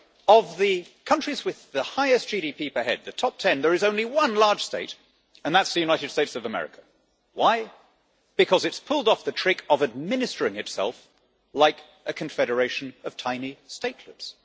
Of the countries with the highest GDP per head, the top 10, there is only one large state the United States of America. Why? Because it has pulled off the trick of administering itself like a confederation of tiny statehoods.